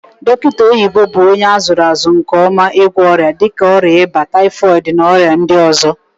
Dokita oyibo bu onye azuru azu nke oma igwo oria dika oria iba, typhooid na oria ndi ozo.